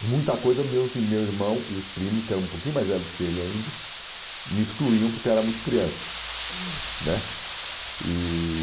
E muita coisa, meus ir meu irmão e os primos, que eram um pouquinho mais velhos que ele ainda, me excluíam porque eu era muito criança né. E...